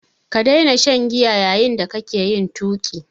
Ka daina shan giya yayin da kake yin tuƙi!